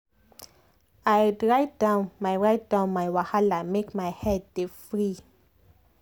i write down my write down my wahala make my head dey free.